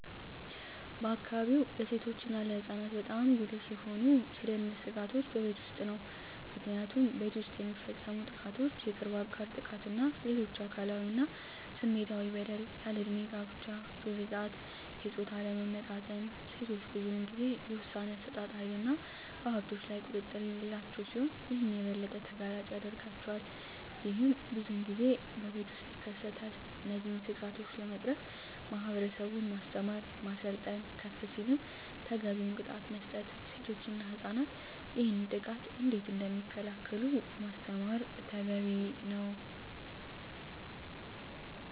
በአካባቢዎ ለሴቶች እና ለህፃናት በጣም ጉልህ የሆኑ የደህንነት ስጋቶች በቤት ውስጥ ነው። ምክንያቱም ቤት ውስጥ የሚፈፀሙ ጥቃቶች የቅርብ አጋር ጥቃት እና ሌሎች አካላዊ እና ስሜታዊ በደል፣ ያልድሜ ጋብቻ፣ ግርዛት፣ የፆታ አለመመጣጠን፣ ሴቶች ብዙን ጊዜ የውሣኔ አሠጣጥ ሀይልና በሀብቶች ላይ ቁጥጥር የሌላቸው ሲሆን ይህም የበለጠ ተጋላጭ ያደርጋቸዋል። ይህም ብዙን ጊዜ በቤት ውስጥ ይከሰታል። እነዚህን ስጋቶች ለመቅረፍ ማህበረሰቡን ማስተማር፣ ማሰልጠን፣ ከፍ ሲልም ተገቢውን ቅጣት መስጠት፣ ሴቶች እና ህፃናት ይህንን ጥቃት እንዴት እደሚከላከሉ ማስተማር።